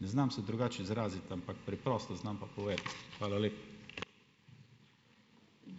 ne znam se drugače izraziti, ampak preprosto znam pa povedati. Hvala lepa.